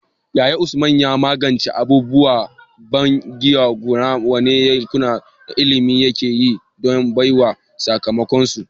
Yaya Usman ya magance abubuwan banƙyama, kuma wane yunƙuri na ilimi yake yi don bayyana sakamakonsu?